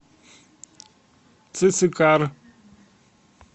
цицикар